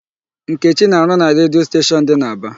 Nkechi na-arụ na redio station dị n'Aba.